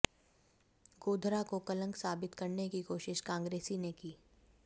गोधरा को कलंक साबित करने की कोशिश कांग्रेसी ने की